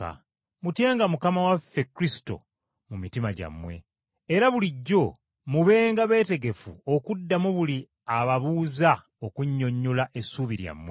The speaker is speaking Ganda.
Mutyenga Mukama waffe Kristo mu mitima gyammwe. Era bulijjo mubenga beetegefu okuddamu buli ababuuza okunnyonnyola essuubi lyammwe,